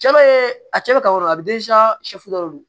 Cɛla ye a cɛ bɛ ka yɔrɔ la a bi sɛfu dɔ de don